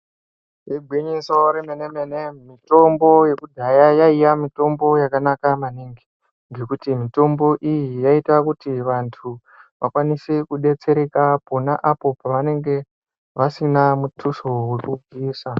Iginyiso remene-mene mitombo yakudhaya yaiya mitombo yakanaka maningi. Ngekuti mitombo iyi yaita kuti antu vakwanise kubetsereka pona apo pavanenge vasina mutuso vekubvisa.